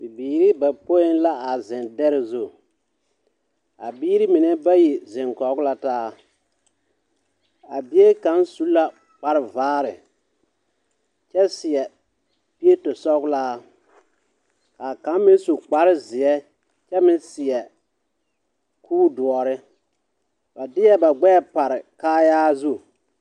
Bibiiri bayopoi la a zeŋ dԑre zu. A biiri mine bayi zeŋ kͻge la taa. A bie kaŋ su la kpare vaare kyԑ seԑ pieto sͻgelaa. Kaa kaŋ meŋ su kpare zeԑ kyԑ meŋ seԑ kure doͻre. ba deԑ ba gbԑԑ pare kaayaa zu.